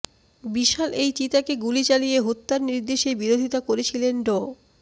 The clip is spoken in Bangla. বিশাল এই চিতাকে গুলি চালিয়ে হত্যার নির্দেশের বিরোধিতা করেছিলেন ড